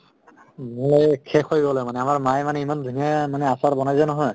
শেষ হৈ গ'লে মানে আমাৰ মায়ে মানে ইমান ধুনীয়া মানে আচাৰ বনাই যে নহয়